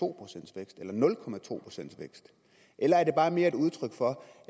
to procent vækst eller nul procent vækst eller er det mere et udtryk for